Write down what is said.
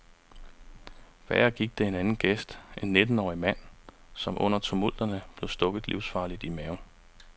Værre gik det en anden gæst, en nittenårig mand, som under tumulterne blev stukket livsfarligt i maven.